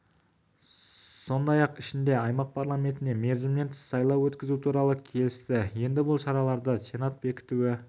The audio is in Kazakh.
сондай-ақ ай ішінде аймақ парламентіне мерзімінен тыс сайлау өткізу туралы келісті енді бұл шараларды сенат бекітуі